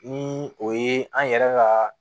Ni o ye an yɛrɛ ka